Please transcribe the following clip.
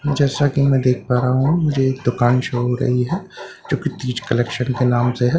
जैसा कि मैं देख पा रहा हूं मुझे एक दुकान शो हो रही है जो कि तीज कलेक्शन के नाम से है जिसके--